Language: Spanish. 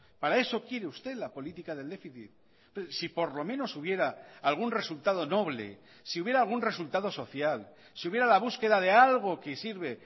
para eso quiere usted la política del déficit si por lo menos hubiera algún resultado noble si hubiera algún resultado social si hubiera la búsqueda de algo que sirve